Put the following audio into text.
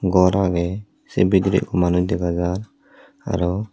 gor agey se bidire ekko manuj dega jar araw.